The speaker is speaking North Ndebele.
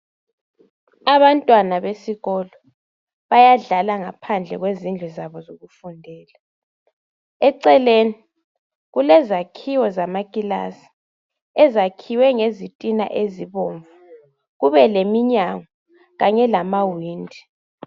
Abantwana besikolo bayadlala ngaphandle kwezindlu zabo zokufundela eceleni kulezakhiwo zamakilasi ezakhiwe ngezitina ezibomvu kube leminyango kanye lama windi.